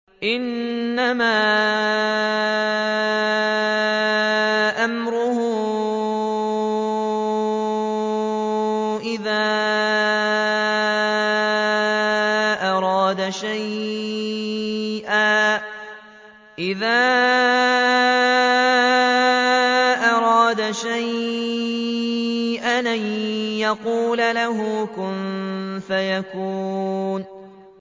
إِنَّمَا أَمْرُهُ إِذَا أَرَادَ شَيْئًا أَن يَقُولَ لَهُ كُن فَيَكُونُ